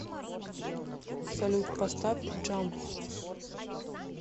салют поставь джамп